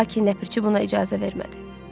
lakin Nəpərçi buna icazə vermədi.